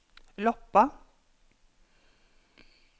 Loppa